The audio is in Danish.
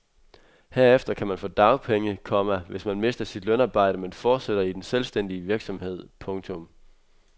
Herefter kan man få dagpenge, komma hvis man mister sit lønarbejde men fortsætter i den selvstændige virksomhed. punktum